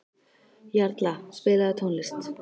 Jarla, spilaðu tónlist.